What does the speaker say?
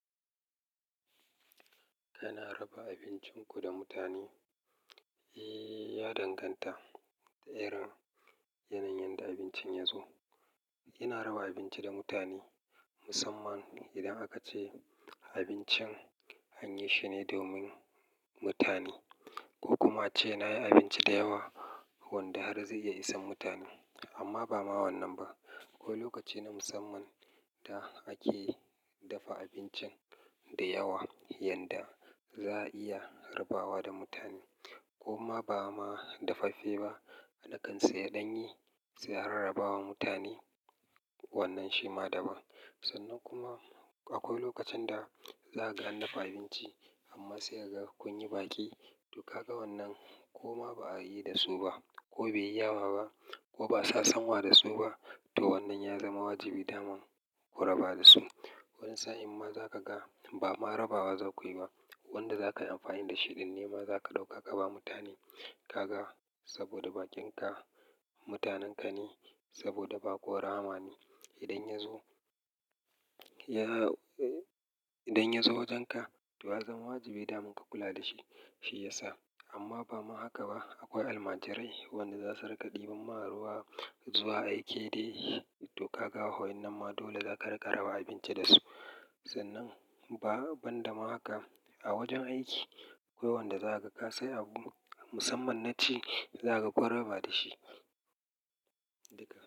Ana raba abincin ku da mutane? Eh, ya danganta da irin yanayin da abincin ya zo. Ina raba abinci da mutane, musamman idan aka ce abincin an yi shi ne domin mutane ko kuma ace na yi abinci da yawa wanda har zai iya isa mutane. Amma ba ma wannan ba. Akwai lokaci na musamman da ake dafa abincin da yawa yanda za a iya raba wa da mutane ko ma ba ma dafaffe ba, a kan saya ɗanye, sai a rarraba wa mutane, wannan shi ma daban. Sannan kuma akwai lokacin da za ka gan nafa abinci amma sai ka ga kun yi baki, to ka ga wannan ko ma ba a yi da su ba ko bai yi yawa ba ko ba sa san wa da su ba, to wannan ya zama wajibi daman ku raba da su. Wani sa'a imma za ka ga ba ma rabawa za ku yi ba, wanda za ka yi amfani da shi ɗin ne ma za ka ɗauka ka ba mutane ka ga, saboda baƙinka mutanenka ne, saboda baƙo rahama ne. Idan ya zo wajenka, to ya zama wajibi daman ka kula da shi, shi ya sa. Amma ba ma haka ba, akwai almajirai wanda za su raka ɗiban maharuwa zuwa aiki dai, to ka ga, wa in nan ma dole za ka rika raba abinci da su. Sannan ba, ban da ma haka a wajen aiki, akwa wanda za ka ga sai abu musamman na ci, za ka koyar raba da shi. Duka.